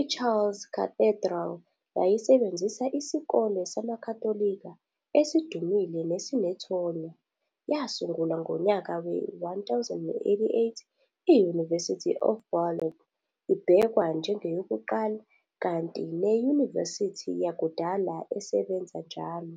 iChartres Cathedral yayisebenzisa iSikole samaKhatholika esidumile nesinethonya. Yasungulwa ngonyaka we-1088, i-University of Bologne ibhekwa njengeyokuqala, kanti neyunivesithi yakudala esebenza njalo.